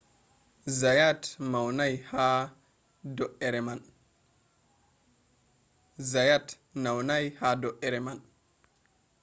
zayat naunai ha do’ere man